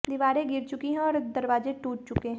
दीवारें गिर चुकी हैं और दरवाजे टूट चुके हैं